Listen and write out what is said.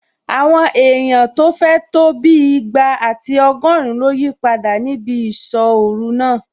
Àwọn èèyàn tó fẹ̀ tó bí ìgbà àti ọgọ́rin ló yípadà níbi ìsọ́-ọ̀ru náà